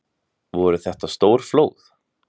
Voru þetta stór flóð?